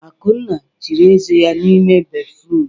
Akunna chiri eze ya n'ime béfrụm.